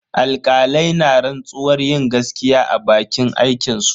Alkalai na rantsuwar yin gaskiya a bakin aikinsu.